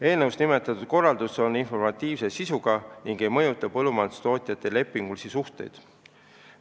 Eelnõus nimetatud korraldus on informatiivse sisuga ega mõjuta põllumajandustootjate lepingulisi suhteid.